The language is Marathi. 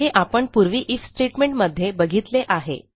हे आपण पूर्वी आयएफ स्टेटमेंट मध्ये बघितले आहे